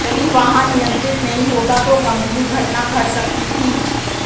यदि वाहन नियंत्रित नहीं होता तो गंभीर घटना घट सकती थी